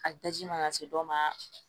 A daji mana se dɔ ma